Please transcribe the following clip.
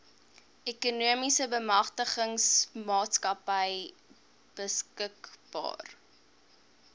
ekonomiese bemagtigingsmaatskappy beskikbaar